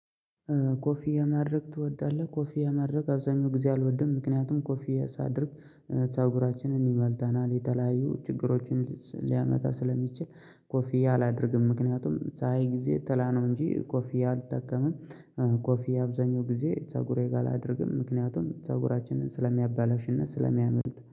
ኮፊያ ማድረግ ትወዳለህ? ኮፊያ ማድረግ አብዛኛው ጊዜ አልወድም ምክንያቱም ኮፊያ ሳደርግ። ፀጉራችንን ይመልታናል የተለያዩ ችግሮችን ሊያመታ ስለሚችል ኮፊያ አላደርግም። ምክንያቱም ፀሀይ ጊዜ ጥላ ነው እንጂ ኮፊያ አልጠቀመም። ኮፊያ አብዛኛው ጊዜ ፀጉሬ ጋር አላደርግም ምክንያቱም ፀጉራችንን ስለሚያባላሽ እና ስለሚያምልጥ